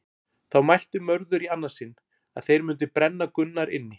Þá mælti Mörður í annað sinn að þeir mundi brenna Gunnar inni.